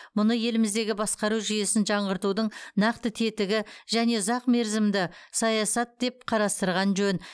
мұны еліміздегі басқару жүйесін жаңғыртудың нақты тетігі және ұзақмерзімді саясат деп қарастырған жөн